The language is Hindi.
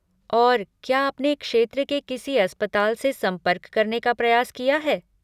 और, क्या आपने क्षेत्र के किसी अस्पताल से संपर्क करने का प्रयास किया है?